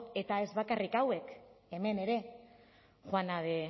eta ez bakarrik hauek hemen ere juana de